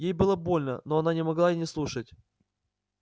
ей было больно но она не могла не слушать